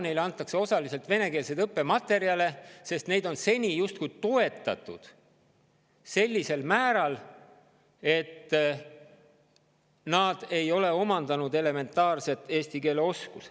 Neile antakse osaliselt venekeelseid õppematerjale, sest neid on seni toetatud sellisel määral, et nad ei ole omandanud elementaarset eesti keele oskust.